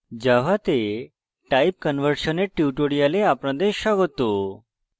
জাভাতে type conversion type conversion এর কথ্য tutorial আপনাদের স্বাগত